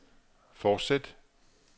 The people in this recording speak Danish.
fortsæt